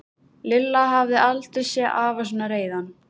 Lilla hafði aldrei séð afa svona reiðan.